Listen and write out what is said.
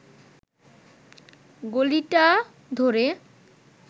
গলিটা ধরে